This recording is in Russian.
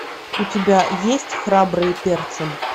у тебя есть храбрые перцем